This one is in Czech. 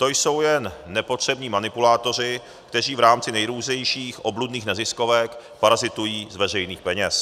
To jsou jen nepotřební manipulátoři, kteří v rámci nejrůznějších obludných neziskovek parazitují z veřejných peněz.